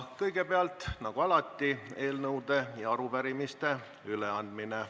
Kõigepealt, nagu alati, on eelnõude ja arupärimiste üleandmine.